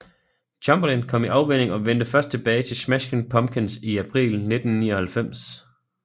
Chamberlin kom i afvænning og vendte først tilbage til Smashing Pumpkins i april 1999